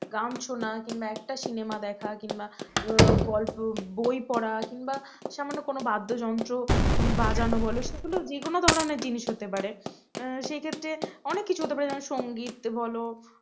গান শোনা কিম্বা একটা cinema দেখা কিংবা গল্প বই পড়া কিম্বা সামান্য কোনও বাদ্যযন্ত্র বাজানো বোলো সেগুলো যে কোন ধরনের জিনিস হতে পারে সেই ক্ষেত্রে অনেক কিছু হতে পারে সংগীত বল